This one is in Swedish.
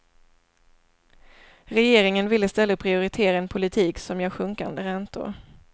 Regeringen vill i stället prioritera en politik som ger sjunkande räntor.